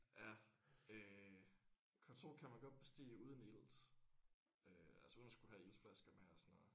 Ja øh K2 kan man godt bestige uden ilt øh altså uden at skulle have iltflasker med og sådan noget